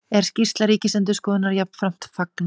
Er skýrslu Ríkisendurskoðunar jafnframt fagnað